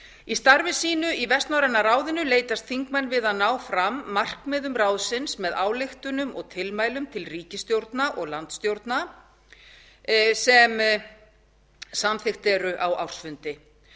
í starfi sínu í vestnorræna ráðinu leitast þingmenn við að ná fram markmiðum ráðsins með ályktunum og tilmælum til ríkisstjórna og landsstjórna sem samþykkt eru á ársfundi